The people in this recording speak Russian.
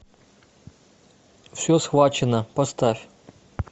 все схвачено поставь